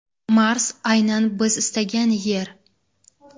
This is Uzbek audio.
Mars aynan biz istagan yer.